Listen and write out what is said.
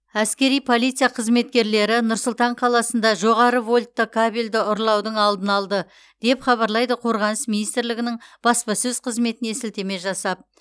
әскери полиция қызметкерлері нұр сұлтан қаласында жоғары вольтты кабельді ұрлаудың алдын алды деп хабарлайды қорғаныс министрлігінің баспасөз қызметіне сілтеме жасап